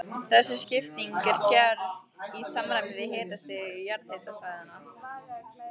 Þessi skipting er gerð í samræmi við hitastig jarðhitasvæðanna.